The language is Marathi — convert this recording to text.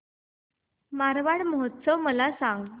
मारवाड महोत्सव मला सांग